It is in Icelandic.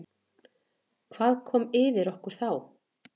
Hvað kom yfir okkur þá?